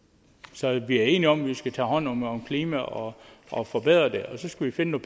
så vi er enige om at vi skal tage hånd om om klimaet og og forbedre det og så skal vi finde